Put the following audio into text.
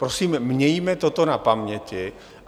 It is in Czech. Prosím, mějme toto na paměti.